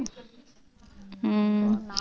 உம்